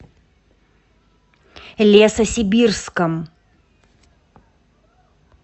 лесосибирском